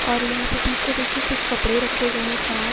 और यहाँ पे पीछे देखिए कुछ कपड़े रखे गए हैं खराब।